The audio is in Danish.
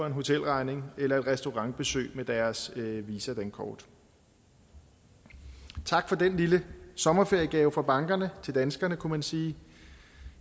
en hotelregning eller et restaurantbesøg med deres visa dankort tak for den lille sommerferiegave fra bankerne til danskerne kunne man sige